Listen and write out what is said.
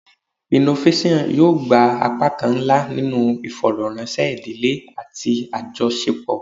Innovation yoo gba apakan nla ninu ifọrọranṣẹ idile ati ajọṣepọ